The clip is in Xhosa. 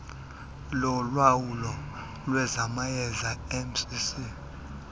lowawulo lwezamayeza mcc